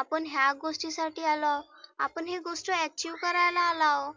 आपण ह्यागोष्टीसाठी आलो आहोत. आपण ह्या गोष्टी achieve करायला आलाव.